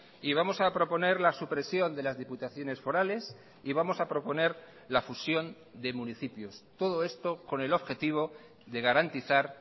y vamos a proponer la supresión de las diputaciones forales y vamos a proponer la fusión de municipios todo esto con el objetivo de garantizar